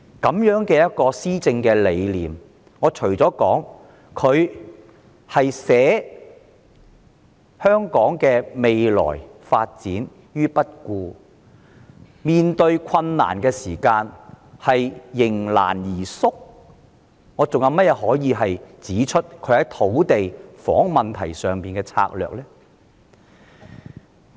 對於這種施政理念，我除了說她捨香港的未來發展於不顧，以及在面對困難時迎難而退縮外，還可以說她對土地和房屋問題有甚麼策略嗎？